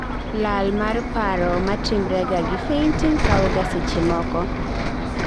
lal mar paro matimrega gi fainting kawoga seche moko